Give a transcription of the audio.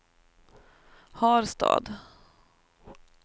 Harstad